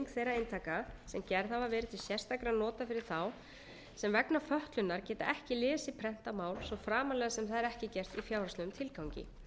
þeirra eintaka sem gerð hafa verið til sérstakra nota fyrir þá sem vegna fötlunar geta ekki lesið prentað mál svo framarlega sem það er ekki gert í fjárhagslegum tilgangi